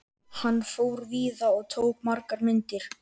Hann fór víða og tók margar myndir.